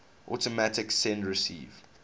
automatic send receive